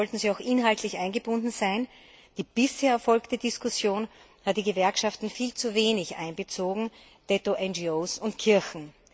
Daher sollten sie auch inhaltlich eingebunden sein. Die bisher erfolgte Diskussion hat die Gewerkschaften viel zu wenig einbezogen, ebenso wenig NGO und Kirchen.